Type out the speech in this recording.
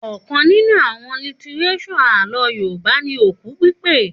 Òkan nínú àwon lítírésò alohùn Yorùbá ni Òku Pípè